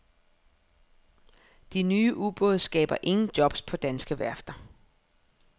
De nye ubåde skaber ingen jobs på danske værfter.